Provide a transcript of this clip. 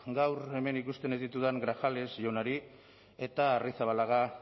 gaur hemen ikusten ez ditudan grajales jaunari eta arrizabalaga